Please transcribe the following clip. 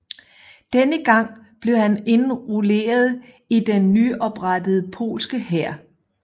Denne gang blev han indrulleret i den nyoprettede polske hær